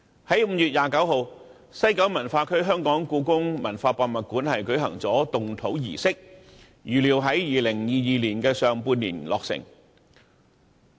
在5月29日，西九文化區的香港故宮文化博物館舉行了動土儀式，預料在2022年的上半年落成。